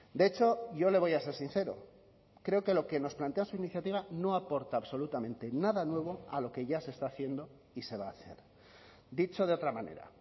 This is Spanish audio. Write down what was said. de hecho yo le voy a ser sincero creo que lo que nos plantea su iniciativa no aporta absolutamente nada nuevo a lo que ya se está haciendo y se va a hacer dicho de otra manera